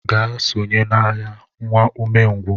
Gaa sonye n'agha, nwa umengwụ!